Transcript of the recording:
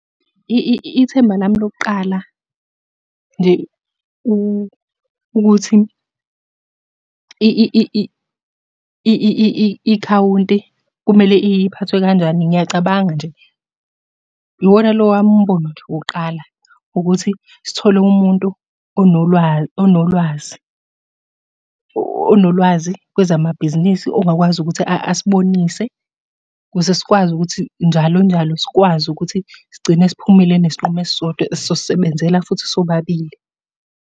Ithemba lami lokuqala nje ukuthi ikhawunti kumele iphathwe kanjani ngiyacabanga nje, iwona lo wami umbono nje wokuqala ukuthi sithole umuntu onolwazi. Onolwazi kwezamabhizinisi ongakwazi ukuthi asibonise, ukuze sikwazi ukuthi njalo njalo sikwazi ukuthi sigcine siphumile nesinqumo esisodwa esizosisebenzela futhi sobabili.